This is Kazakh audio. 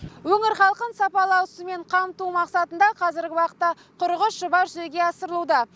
өңір халқын сапалы ауызсумен қамту мақсатында қазіргі уақытта қырық үш жоба жүзеге асырылуда